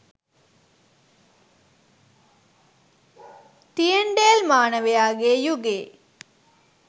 තියැන්ඩෑල් මානවයා ගේ යුගයේ